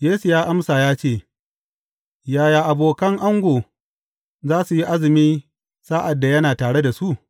Yesu ya amsa ya ce, Yaya abokan ango za su yi azumi, sa’ad da yana tare da su?